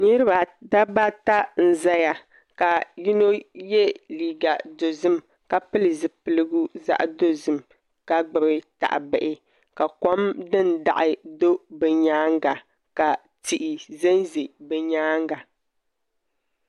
Dabba ata n ʒɛya ka yino yɛ liiga dozim ka pili zipiligu zaɣ dozim ka gbubi tahabihi ka kom din daɣi do bi nyaanga ka tihi ʒɛnʒɛ bi nyaanga